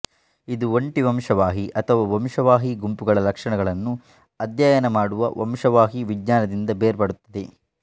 ಇದು ಒಂಟಿ ವಂಶವಾಹಿ ಅಥವಾ ವಂಶವಾಹಿ ಗುಂಪುಗಳ ಲಕ್ಷಣಗಳನ್ನು ಅಧ್ಯಯನ ಮಾಡುವ ವಂಶವಾಹಿ ವಿಜ್ಞಾನದಿಂದ ಬೇರ್ಪಡುತ್ತದೆ